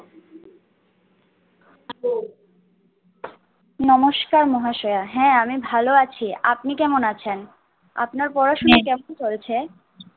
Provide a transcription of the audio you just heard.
নমস্কার মহালয়া, হ্যাঁ আমি ভালো আছি আপনি কেমন আছেন আপনার পড়াশোনা কেমন চলছে?